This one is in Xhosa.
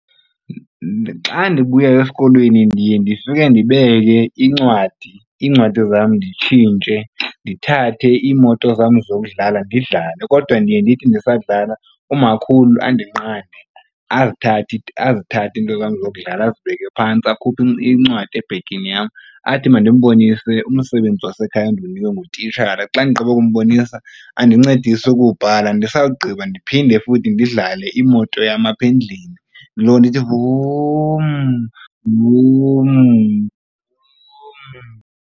Xa ndibuya esikolweni ndiye ndifike ndibeke incwadi, iincwadi zam nditshintshe ndithathe iimoto zam zokudlala ndidlale. Kodwa ndiye ndithi ndisadlala umakhulu andinqande, azithathe into zam zokudlala azibeke phantsi akhuphe incwadi ebhegini yam athi mandimbonise umsebenzi wasekhaya endiwunikwe ngutitshala. Xa ndigqiba ukumbonisa andincedise ukuwubhala. Ndisawugqiba ndiphinde futhi ndidlale imoto yam aphe endlini ndiloko ndithi vum, vum, vum.